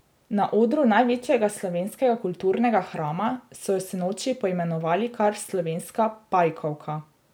Na odru največjega slovenskega kulturnega hrama so jo sinoči poimenovali kar slovenska pajkovka.